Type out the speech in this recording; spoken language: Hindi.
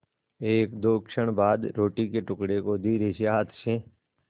एकदो क्षण बाद रोटी के टुकड़े को धीरेसे हाथ से